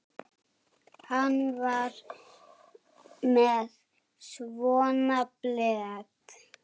Hann var með svona blett.